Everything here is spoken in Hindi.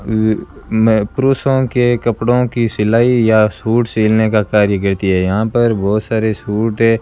वे मैं पुरुषों के कपड़ों की सिलाई या सूट सिलने का कार्य करती है यहां पर बहोत सारे सूट है।